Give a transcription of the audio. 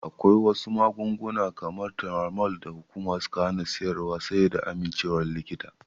Akwai wasu magunguna kamar Turamol da hukuma suka hana siyar dasu sai dai da amincewar likita.